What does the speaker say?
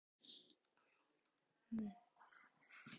Veigarnar dýru megna ekki að þagga niður í honum.